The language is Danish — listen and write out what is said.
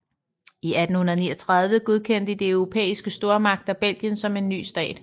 I 1839 godkendte de europæiske stormagter Belgien som en ny stat